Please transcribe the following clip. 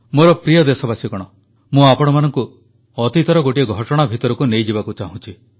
ମୋର ପ୍ରିୟ ଦେଶବାସୀଗଣ ମୁଁ ଆପଣମାନଙ୍କୁ ଅତୀତର ଗୋଟିଏ ଘଟଣା ଭିତରକୁ ନେଇଯିବାକୁ ଚାହୁଁଛି